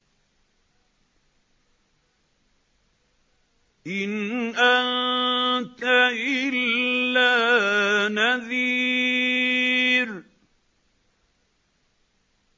إِنْ أَنتَ إِلَّا نَذِيرٌ